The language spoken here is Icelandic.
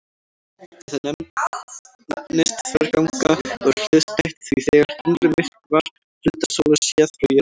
Þetta nefnist þverganga og er hliðstætt því þegar tunglið myrkvar hluta sólar séð frá jörðu.